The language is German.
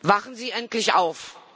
Wachen Sie endlich auf!